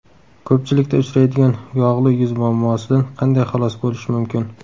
Ko‘pchilikda uchraydigan yog‘li yuz muammosidan qanday xalos bo‘lish mumkin?